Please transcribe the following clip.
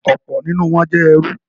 Ọ̀pọ̀ nínú wọ́n jẹ́ ẹrú.